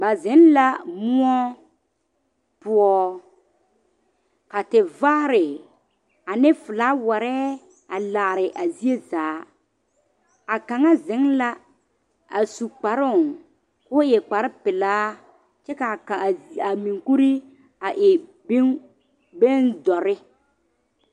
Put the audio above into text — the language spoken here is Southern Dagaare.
Ba zeŋ la moɔ poɔ ka tevaare ane filawari a laare a zie zaa a kaŋa zeŋ la a su kparoŋ k,o e kparepelaa kyɛ ka a a monkuri a e bone bondɔre.